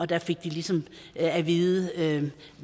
der fik de ligesom at vide